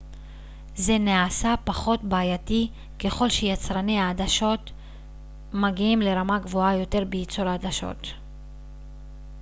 זה נעשה פחות בעייתי ככל שיצרני העדשות מגיעים לרמה גבוהה יותר בייצור העדשות